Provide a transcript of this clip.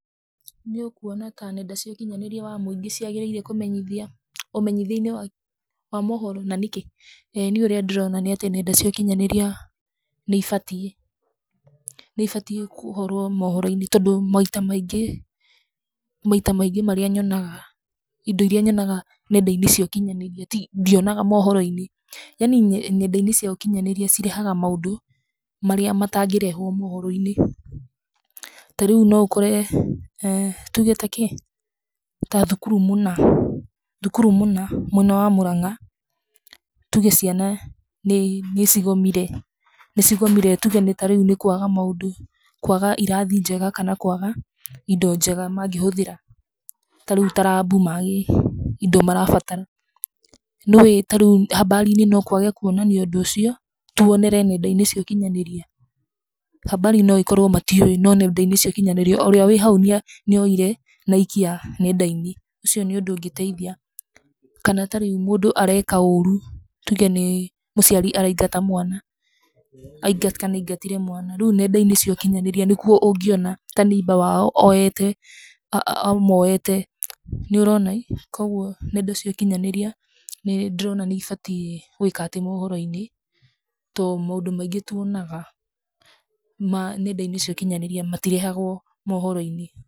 Nĩ ũkuona ta nenda cia ũkĩnyanĩria wa mũingĩ ciagĩrĩire ũmenyithia-inĩ wa mohoro na nĩkĩ? Nĩ irĩa ndĩrona nĩ atĩ nenda cia ũkinyanĩria nĩ ibatiĩ gũkorũo mohoro-inĩ, tondũ maita maingĩ indo iria nyonaga nenda-inĩ cia ũkinyanĩria ndionaga mohoro-inĩ. Yaani nenda-inĩ cia ũkinyanĩria nĩ cirehaga maũndũ marĩa matagĩrehwo mohoro-inĩ. Ta rĩu no ukore ta thukuru mũna, mwena wa Murang'a ciana nĩ cigomire nĩ kũaga maũndũ ta irathi njega kana kũaga indo njega magĩhũthĩra ta rĩu indo marabatara lab . Nĩũĩ rĩũ habari no kũage kũonanio ũndũ ũcio tũonere nenda-inĩ cia ũkinyanĩria. Habari no ĩkorũo matiũĩ no nenda-inĩ cia ũkinyanĩria ũrĩa wĩ hau nĩoire na aikia nenda-inĩ. Ũcio nĩ ũndũ ũngĩteithia. Kana ta rĩu mũndũ areka ũru ta mũciari araingata mwana kana aingatire mwana. Rĩu nenda-inĩ cia ũkinyanĩria nĩkuo ungĩona ta neighbor wao amoete. Kogũo nenda cia ũkinyanĩria nĩndĩrona nĩ ibatiĩ gũĩkatĩ mohoro-inĩ tondũ maũndũ maingĩ tũonaga nenda-inĩ cia ũkinyanĩria matirehagũo mohoro-inĩ.